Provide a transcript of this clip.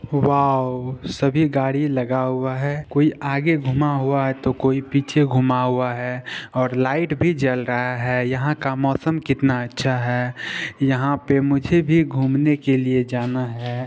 Wow सभी गाड़ी लगा हुआ है कोई आगे घूमा हुआ है तो कोई पीछे घूमा हुआ है और लाइट भी जल रहा है ये का मौसम कितना अच्छा है यहाँ पर मुझे भी घुमने के लिए जाना है।